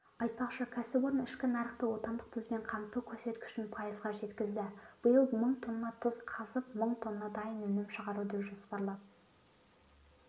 айтпақшы кәсіпорын ішкі нарықты отандық тұзбен қамту көрсеткішін пайызға жеткізді биыл мың тонна тұз қазып мың тонна дайын өнім шығаруды жоспарлап